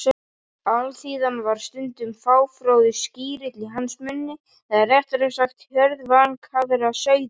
Alþýðan var stundum fáfróður skríll í hans munni eða réttara sagt: hjörð vankaðra sauða.